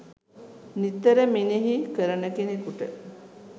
නිතර මෙනෙහි කරන කෙනෙකුට